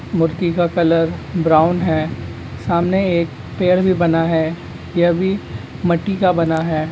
मूर्ति का colour brown है सामने एक पेड़ भी बना है। यह भी मट्टी का बना है।